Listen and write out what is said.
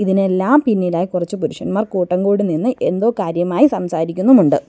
ഇതിനെല്ലാം പിന്നിലായി കുറച്ചു പുരുഷന്മാർ കൂട്ടം കൂടി നിന്ന് എന്തോ കാര്യമായി സംസാരിക്കുന്നുമുണ്ട്.